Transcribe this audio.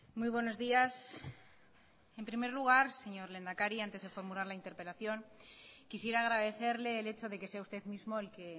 muy buenos días en primer lugar señor lehendakari antes de formular la interpelación quisiera agradecerle el hecho de que sea usted mismo el que